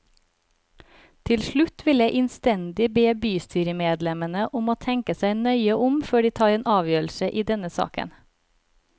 Til slutt vil jeg innstendig be bystyremedlemmene om å tenke seg nøye om før de tar en avgjørelse i denne saken.